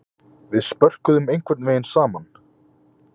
Við spörkuðum einhvern vegin saman.